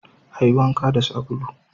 Ayi wanka da sabulu